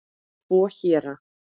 Tvo héra